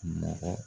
Mɔgɔ